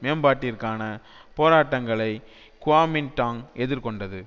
மேம்பாட்டிற்கான போராட்டங்களை குவாமின்டாங் எதிர் கொண்டது